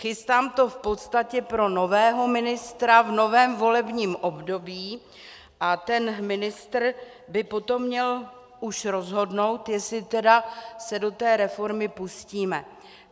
Chystám to v podstatě pro nového ministra v novém volebním období a ten ministr by potom měl už rozhodnout, jestli tedy se do té reformy pustíme.